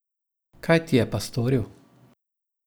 Kaj ti je pa storil?